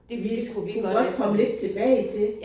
Det skulle vi kunne godt komme lidt tilbage til